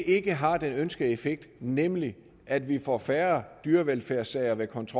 ikke har den ønskede effekt nemlig at vi får færre dyrevelfærdssager ved kontrol